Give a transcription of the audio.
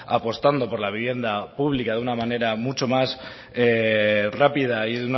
apostando por la vivienda pública de una manera mucho más rápida y